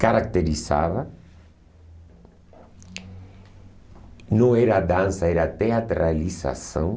caracterizava, não era dança, era teatralização.